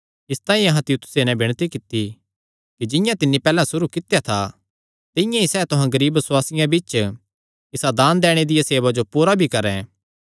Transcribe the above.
इसतांई अहां तीतुसे नैं विणती कित्ती कि जिंआं तिन्नी पैहल्ले सुरू कित्या था तिंआं ई सैह़ तुहां गरीब बसुआसियां बिच्च इसा दान दैणे दिया सेवा जो पूरा भी करैं